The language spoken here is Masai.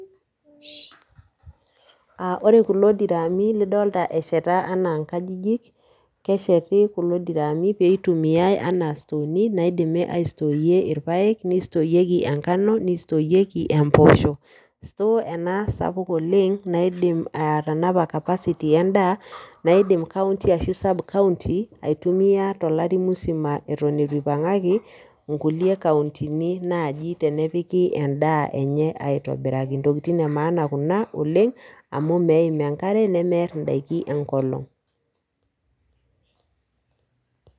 Aa ore kulo diraami lidolta esheta enaa inkajijik, kesheti kulo diraami pee itumiai anaa storeni naidimi aistoreye irpaek, nistoreyeki enkano, nistoreyeki empoosho. store ena sapuk oleng' anidim atanapa capacity endaa naidim county ashu sub-county, aitumia tolari musima eton itu ipang'aki nkulie countyni naaji tenepiki endaa enye aitobiraki. Ntokitin e maana kuna oleng' amu meim enkare nemeer ndaiki enkolong'.